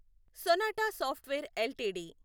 sonata software LTD